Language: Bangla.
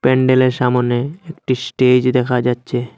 প্যান্ডেলের সামোনে একটি স্টেজ দেখা যাচ্চে।